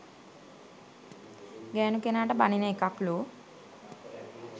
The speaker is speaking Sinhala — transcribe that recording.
ගෑණු කෙනාට බනින එකක්ලු.